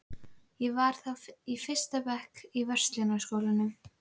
Ég var þá í fyrsta bekk í Verslunarskólanum.